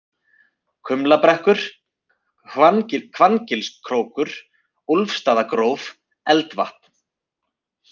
Kumlabrekkur, Hvanngilskrókur, Úlfstaðagróf, Eldvatn